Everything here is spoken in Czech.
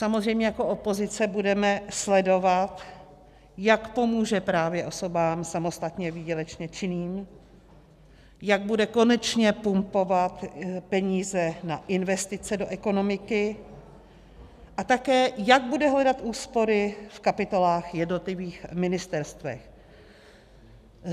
Samozřejmě jako opozice budeme sledovat, jak pomůže právě osobám samostatně výdělečně činným, jak bude konečně pumpovat peníze na investice do ekonomiky, a také, jak bude hledat úspory v kapitolách jednotlivých ministerstev.